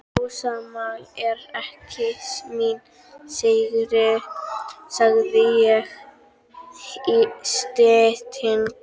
Rósamál er ekki mín sérgrein, sagði ég í styttingi.